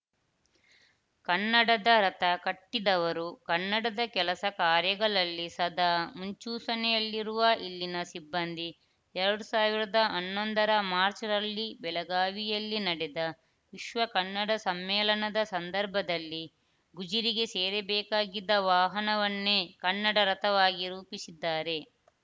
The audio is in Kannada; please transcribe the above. ಕನ್ನಡದ ರಥ ಕಟ್ಟಿದವರು ಕನ್ನಡದ ಕೆಲಸ ಕಾರ್ಯಗಳಲ್ಲಿ ಸದಾ ಮುಂಚೂಶನೆಯಲ್ಲಿರುವ ಇಲ್ಲಿನ ಸಿಬ್ಬಂದಿ ಎರಡ್ ಸಾವಿರದ ಹನ್ನೊಂದರ ಮಾರ್ಚ್ ರಲ್ಲಿ ಬೆಳಗಾವಿಯಲ್ಲಿ ನಡೆದ ವಿಶ್ವ ಕನ್ನಡ ಸಮ್ಮೇಳನದ ಸಂದರ್ಭದಲ್ಲಿ ಗುಜಿರಿಗೆ ಸೇರಬೇಕಾಗಿದ್ದ ವಾಹನವನ್ನೇ ಕನ್ನಡ ರಥವಾಗಿ ರೂಪಿಸಿದ್ದಾರೆ